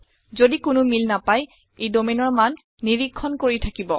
যদি কোনো মিল নাপায় ই domainৰ মান নিৰীক্ষণ কৰি থাকিব